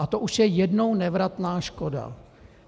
A to už je jednou nevratná škoda.